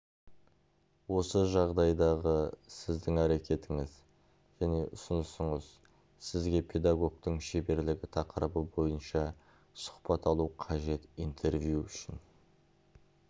осы жағдайдағы сіздің әрекетіңіз және ұсынысыңыз сізге педагогтың шеберлігі тақырыбы бойынша сұхбат алу қажет интервью үшін